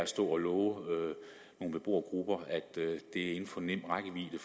og love nogle beboergrupper at det er inden for nem rækkevidde